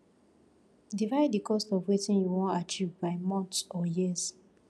divide the cost of wetin you won achieve by months or years